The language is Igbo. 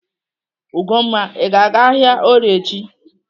Ugomma, Ị ga-aga ahịa Orie echi?